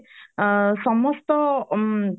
ଆ ସମସ୍ତ